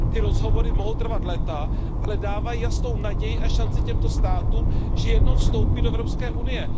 Ty rozhovory mohou trvat léta, ale dávají jasnou naději a šanci těmto státům, že jednou vstoupí do Evropské unie.